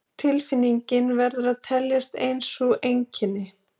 Tilfinningin verður að teljast ein sú einkenni